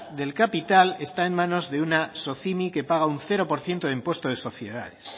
del capital está en manos de una socimi que paga un cero por ciento de impuesto sobre sociedades